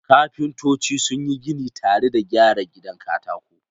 Kafintoci sun yi gini tare da gyara gidan katako.